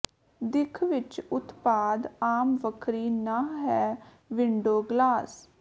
ਦਿੱਖ ਵਿੱਚ ਉਤਪਾਦ ਆਮ ਵੱਖਰੀ ਨਹ ਹੈ ਵਿੰਡੋ ਗਲਾਸ